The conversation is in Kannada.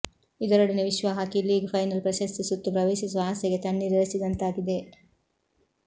ಇದರೊಡನೆ ವಿಶ್ವ ಹಾಕಿ ಲೀಗ್ ಫೈನಲ್ ಪ್ರಶಸ್ತಿ ಸುತ್ತು ಪ್ರವೇಶಿಸುವ ಆಸೆಗೆ ತಣ್ಣೀರೆರಚಿದಂತಾಗಿದೆ